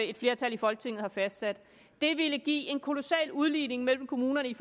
et flertal i folketinget har fastsat det ville give en kolossal udligning mellem kommunerne